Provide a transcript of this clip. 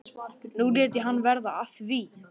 Nú lét hann verða af því.